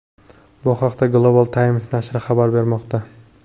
Bu haqda Global Times nashri xabar bermoqda.